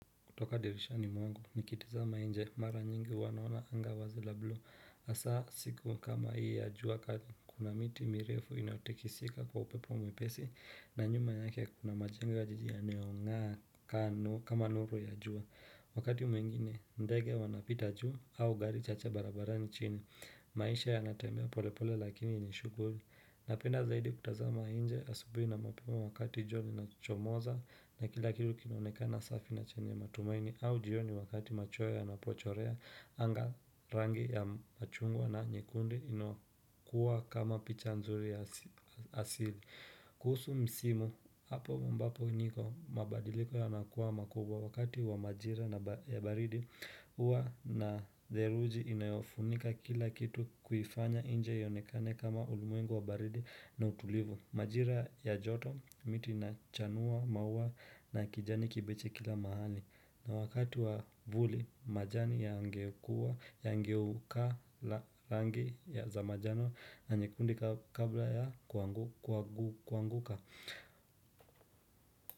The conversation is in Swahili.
Kutoka dirishani mwangu, nikitizama nje, mara nyingi huwa naona anga wazila buluu. Hasa siku kama hii ya jua kali, kuna miti mirefu inaotekisika kwa upepo mwepesi na nyuma yake kuna majenga jijia yanao ngaa kama nuru ya jua. Wakati mwingine, ndege wanapita juu au gari chache barabara ni chini. Maisha ya natambea polepole lakini ni shughuri. Napenda zaidi kutazama nje asubuhi na mapema wakati jua linachomoza na kila kilu kinonekana safi na chenye matumaini au jioni wakati macho ya napochorea anga rangi ya machungwa na nyekundu ino kuwa kama picha nzuri ya asili. Kuhusu msimu, hapo mbapo niko mabadiliko yanakuwa makubwa wakati wa majira na bada ya baridi Uwa na zeruji inayofunika kila kitu kuifanya inje yaonekane kama ulimwengo wa baridi na utulivu Majira ya joto miti inachanua maua na kijani kibichi kila mahali na wakati wa vuli majani yangekua yaangeukaa langi ya za majano na nyekundi kabla ya kuangu kuanguka.